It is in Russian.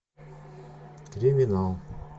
криминал